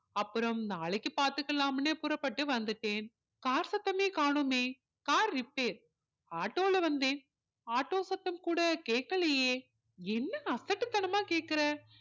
அப்பறோம் நாளைக்கு பார்த்துக்கலாம்னு புறப்பட்டு வந்துட்டேன் car சத்தமே காணோமே car repair ஆட்டோல வந்தேன் ஆட்டோ சத்தம் கூட கேட்கலையே என்ன அசட்டு தனமா கேட்குற